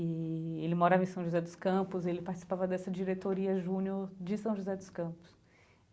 Eee ele morava em São José dos Campos, ele participava dessa diretoria Junior de São José dos Campos.